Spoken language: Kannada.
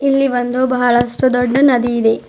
ಇಲ್ಲಿ ಒಂದು ಬಹಳಷ್ಟು ದೊಡ್ಡ ನದಿ ಇದೆ.